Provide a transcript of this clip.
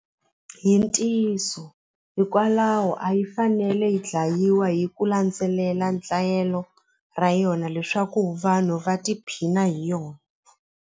Hi ntiyiso hikwalaho a yi fanele yi dlayiwa hi ku landzelela ra yona leswaku vanhu va tiphina hi yona.